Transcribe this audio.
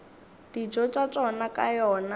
dijo tša tšona ka yona